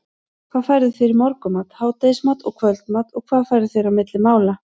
hvað færðu þér í morgunmat, hádegismat og kvöldmat og hvað færðu þér á milli mála?